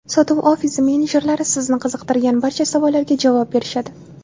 Sotuv ofisi menejerlari sizni qiziqtirgan barcha savollarga javob berishadi.